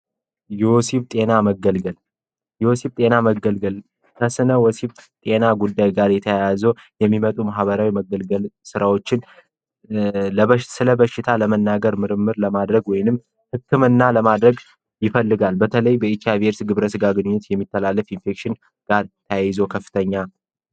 የወሲብ ጤና መገልገል ወሲብ ጤና መገልገል ከስነ ወሲብ ጤና ጉዳይ ጋር የተያያዙ የሚመጡ ማህበራዊ መገልገል ስራዎችን ስለ በሽታ ለመናገር ምርምር ለማድረግ ወይንም ህክምና ለማድረግ ይፈልጋል። በተለይ በኤች አይቪ ኤድስ ግብረ ስጋ ግንኙነት የሚተላለፍ ኢንፌክሽን ጋር ተያይዞ ከፍተኛ ነው።